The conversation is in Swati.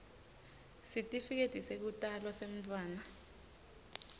sitifiketi sekutalwa semntfwana